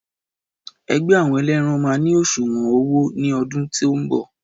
Ẹgbẹ́ àwọn eléran má ni òṣùwọn owó ní ọdún tí o nbọ